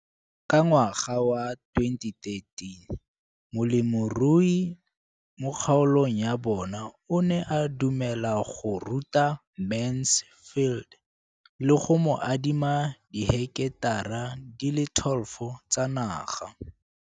Ka ngwaga wa 2013, molemirui mo kgaolong ya bona o ne a dumela go ruta Mansfield le go mo adima di heketara di le 12 tsa naga.